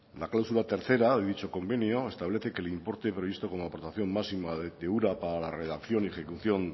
la cláusula tercera de dicho convenio establece que el importe previsto como aportación máxima de ura para la redacción y ejecución